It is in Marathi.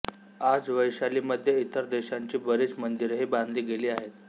आज वैशालीमध्ये इतर देशांची बरीच मंदिरेही बांधली गेली आहेत